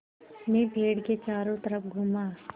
मैं पेड़ के चारों तरफ़ घूमा